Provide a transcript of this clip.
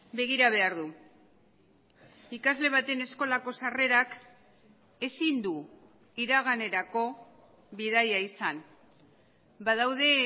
begira behar du ikasle baten eskolako sarrerak ezin du iraganerako bidaia izan badaude